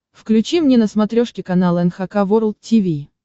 включи мне на смотрешке канал эн эйч кей волд ти ви